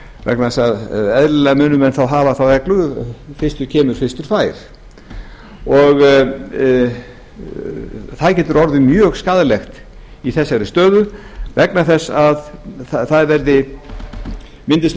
vegna þess að eðlilega munu menn hafa þá reglu fyrstur kemur fyrstur fær það getur orðið mjög skaðlegt í þessari stöðu vegna þess að það myndist ákveðin